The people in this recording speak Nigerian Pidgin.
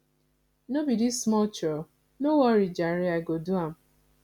no be dis small chore no worry jare i go do am